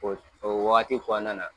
O o wagati kɔnɔna na